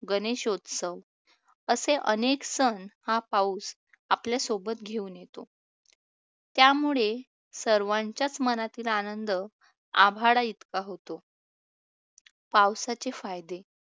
गणेशोत्सव असे अनेक सण हा पाऊस आपल्या सोबत घेऊन येतो, त्यामुळे सर्वांच्याच मनातील आनंद आभाळाइतका होतो. पावसाचे फायदे